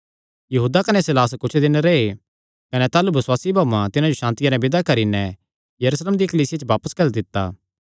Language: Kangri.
यहूदा कने सीलास कुच्छ दिन रैह् कने ताह़लू बसुआसी भाऊआं तिन्हां जो सांतिया नैं विदा करी नैं यरूशलेम दी कलीसिया च बापस घल्ली दित्ता